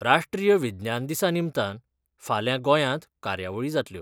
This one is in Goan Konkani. राश्ट्रीय विज्ञान दिसा निमतान फाल्यां गोयात कार्यावळी जातल्यो.